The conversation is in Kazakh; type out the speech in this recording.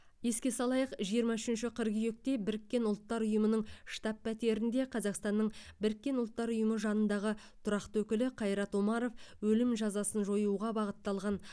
еске салайық жиырма үшінші қыркүйекте біріккен ұлттар ұйымының штаб пәтерінде қазақстанның біріккен ұлттар ұйымы жанындағы тұрақты өкілі қайрат омаров өлім жазасын жоюға бағытталған